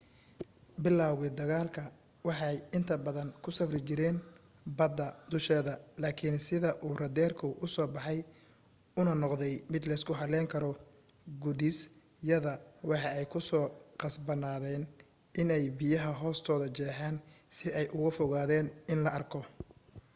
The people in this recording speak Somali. bilawgi dagaalka waxa ay inta badan ku safri jireen bada dusheeda laakin sida uu raaderku uu uso baxay una noqday mid leysku haleyn karo gudis yada waxa ay ku qasbanaadeyn in ay biyaha hoostoda jeexan si ay uuga fogaadan in la arko